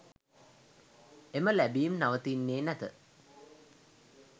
එම ලැබීම් නවතින්නේ නැත.